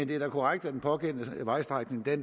det er korrekt at den pågældende vejstrækning